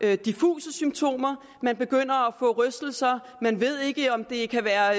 har diffuse symptomer man begynder at få rystelser man ved ikke om det kan være